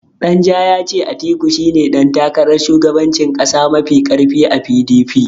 Danja ya ce Atiku shine ɗan takarar shugabancin ƙasa mafi ƙarfi a PDP.